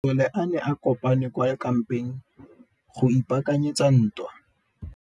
Masole a ne a kopane kwa kampeng go ipaakanyetsa ntwa.